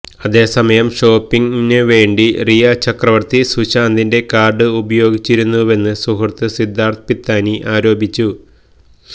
അതേസമയം ഷോപ്പിംഗിന് വേണ്ടി റിയാ ചക്രവർത്തി സുശാന്തിന്റെ കാർഡ് ഉപയോഗിച്ചിരുന്നുവെന്ന് സുഹൃത്ത് സിദ്ധാർത്ഥ് പിത്താനി ആരോപിച്ചു